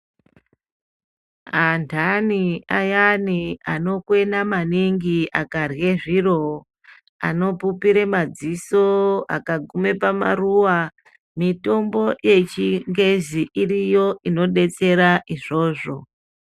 Anthani ayani anokwena maningi akarya zviro, anopupire madziso akagume pamaruwa, mitombo yechingezi iriyo inodetsera izvozvo.